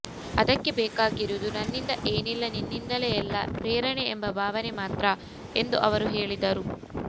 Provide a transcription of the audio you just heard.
ಅದಕ್ಕೆ ಬೇಕಾಗಿರುವುದು ನನ್ನಿಂದ ಏನಿಲ್ಲ ನಿನ್ನಿಂದಲೇ ಎಲ್ಲ ಪ್ರೇರಣೆ ಎಂಬ ಭಾವನೆ ಮಾತ್ರ ಎಂದು ಅವರು ಹೇಳಿದರು